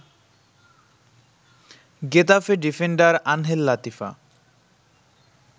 Getafe defender Angel Latifa